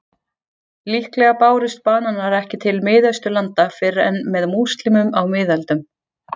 Líklega bárust bananar ekki til Miðausturlanda fyrr en með múslímum á miðöldum.